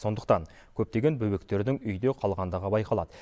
сондықтан көптеген бөбектердің үйде қалғандығы байқалады